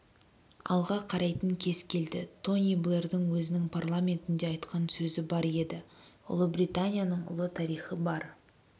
алға қарайтын кез келді тони блэрдың өзінің парламентінде айтқан сөзі бар еді ұлыбританияның ұлы тарихы бар